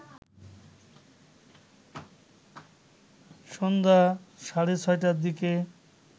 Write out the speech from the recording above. সন্ধ্যা সাড়ে ৬টার দিকে